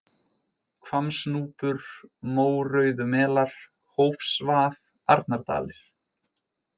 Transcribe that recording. Hvammsnúpur, Mórauðumelar, Hófsvað, Arnardalir